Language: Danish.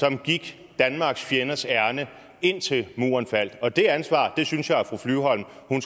som gik danmarks fjenders ærinde indtil muren faldt og det ansvar synes jeg at